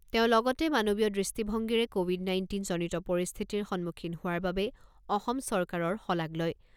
তেওঁ লগতে মানৱীয় দৃষ্টিভংগীৰে ক’ভিড নাইণ্টিন জনিত পৰিস্থিতিৰ সন্মুখীন হোৱাৰ বাবে অসম চৰকাৰৰ শলাগ লয়